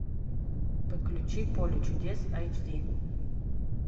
подключи поле чудес айч ди